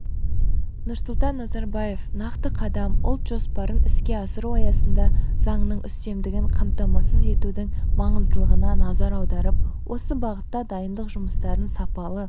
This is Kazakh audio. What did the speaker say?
нұрсұлтан назарбаев нақты қадам ұлт жоспарын іске асыру аясында заңның үстемдігін қамтамасыз етудің маңыздылығына назар аударып осы бағытта дайындық жұмыстарын сапалы